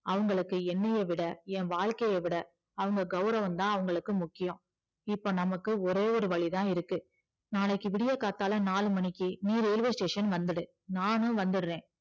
அவங்களுக்கு என்னைய விட என் வாழ்க்கைய விட அவங்க கௌரவம் தான் அவங்களுக்கு முக்கியம் இப்போ நமக்கு ஒரே ஒரு வழிதான் இருக்கு நாளைக்கு விடியகாத்தால நாலு மணிக்கு நீ railway station வந்துடு நானும் வந்துடுறேன்